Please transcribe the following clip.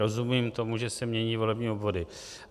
Rozumím tomu, že se mění volební obvody.